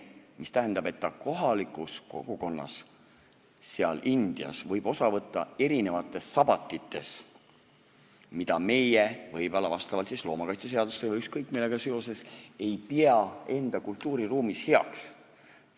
See tähendab, et ta kohalikus kogukonnas, seal Indias võib osa võtta erinevatest sabatitest, mida meie – võib-olla loomakaitseseaduse või ükskõik millega seoses – ei pea enda kultuuriruumis heaks.